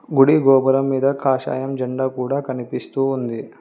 గుడి గోపురం మీద కాషాయం జండా కూడా కనిపిస్తూ ఉంది.